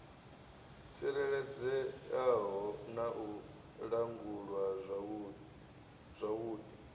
tsireledzeaho na u langulwa zwavhudi